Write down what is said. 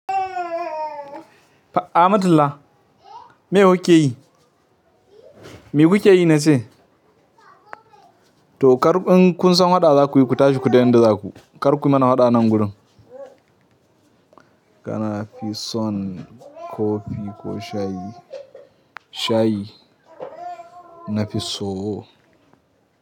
Fa Ahmatullah me kuke yi? Me kuke yi na ce? To kar in kun san haɗa zakuyi, ku tashi ku daina da za ku. Kar ku mana haɗa nan gurin. Kana fi son kofi ko shayi? Shayi na fi so.